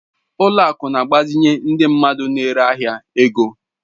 Ụlọ akụ na-agbazinye ndị mmadụ n'ere ahịa ego.